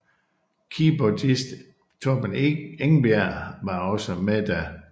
Keyboardist Torben Engberg var også med da